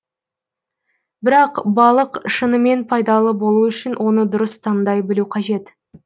бірақ балық шынымен пайдалы болу үшін оны дұрыс таңдай білу қажет